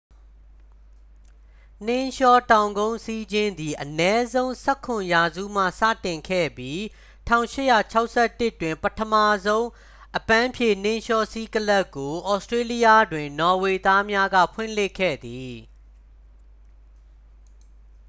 နှင်းလျှောတောင်ကုန်းစီးခြင်းသည် အနည်းဆုံး 17 ရာစုမှစတင်ခဲ့ပြီး 1861 တွင် ပထမဆုံး အပန်းဖြေနှင်းလျှောစီးကလပ်ကို ဩစတေးလျတွင် နော်ဝေသားများက ဖွင့်လှစ်ခဲ့သည်